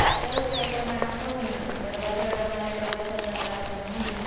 तरच काही प्रमाणात का होईना दरवाजे अडवणार्या प्रवाशांचा त्रास कमी होईल